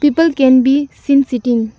people can be seen sitting.